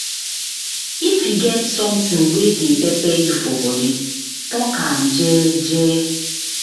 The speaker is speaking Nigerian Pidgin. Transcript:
If e get something wey dey pepper you for body, talk am jeje